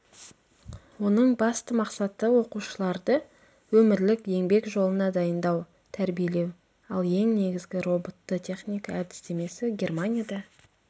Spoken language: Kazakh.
оның басты мақсаты оқушыларды өмірлік еңбек жолына дайындау тәрбиелеу ал ең негізгі роботты техника әдістемесі германияда